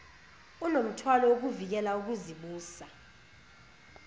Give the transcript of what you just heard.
unomthwalo wokuvikela ukuzibusa